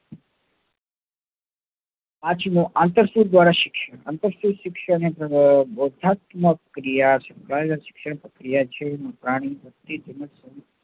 અંતરસુદ શિક્ષણ એ પ્રક્રિયા શિક્ષણ પ્રક્રિયા છે